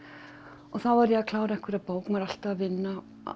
og þá var ég að klára einhverja bók maður er alltaf að vinna